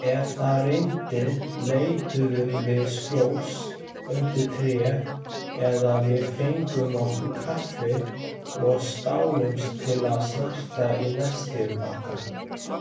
Ef það rigndi leituðum við skjóls undir tré eða við fengum okkur kaffi og stálumst til að narta í nestið okkar.